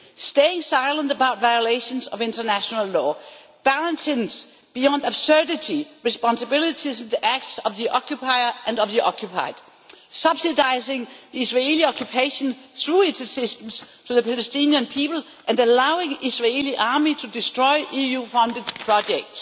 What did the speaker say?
Staying silent about violations of international law, balancing, beyond absurdity, responsibilities of the acts of the occupier and of the occupied, subsidising Israeli occupation through its assistance to the Palestinian people and allowing the Israeli army to destroy EU funded projects.